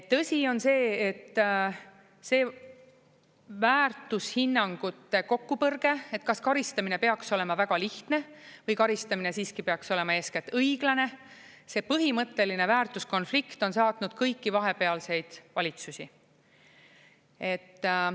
Tõsi on see, et see väärtushinnangute kokkupõrge, et kas karistamine peaks olema väga lihtne või karistamine siiski peaks olema eeskätt õiglane, see põhimõtteline väärtuskonflikt on saatnud kõiki vahepealseid valitsusi.